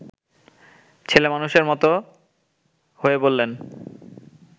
ছেলেমানুষের মতো হয়ে বললেন